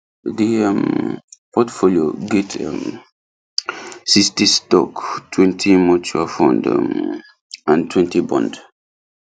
the um portfolio get um sixty stock twenty mutual fund um and twenty bond